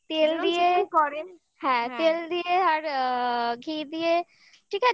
তেল দিয়ে করেন হ্যাঁ তেল দিয়ে আর অ্যা ঘি দিয়ে